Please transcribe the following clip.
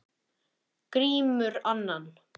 Grímur annan.